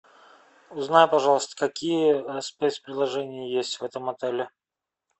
узнай пожалуйста какие спецпредложения есть в этом отеле